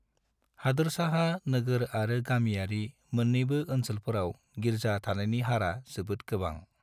हादोरसाहा नोगोर आरो गामियारि मोन्नैबो ओनसोलफोराव गिर्जा थानायनि हारा जोबोद गोबां।